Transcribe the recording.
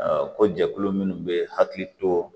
ko jɛkulu minnu bɛ hakili to